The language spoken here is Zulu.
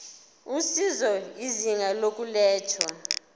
usizo izinga lokulethwa